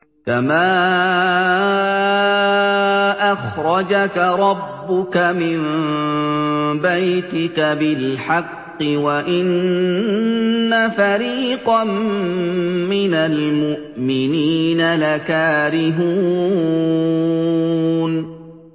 كَمَا أَخْرَجَكَ رَبُّكَ مِن بَيْتِكَ بِالْحَقِّ وَإِنَّ فَرِيقًا مِّنَ الْمُؤْمِنِينَ لَكَارِهُونَ